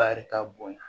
Ba yɛrɛ ka bonya